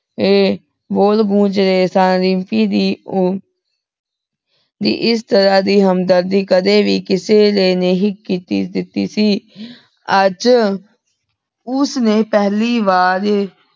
ਏ ਬੋਲ ਗੂੰਜ ਰਹੇ ਸਨ ਰਿਮਪੀ ਦੀ ਊ ਦੀ ਏਸ ਤਰਹ ਦੀ ਹਮਦਰਦੀ ਕਦੇ ਵੀ ਕਿਸੇ ਨੇ ਨਹੀ ਕੀਤੀ ਦਿਤੀ ਸੀ। ਆਜ ਓਸਨੂ ਪਹਲੀ ਵਾਰ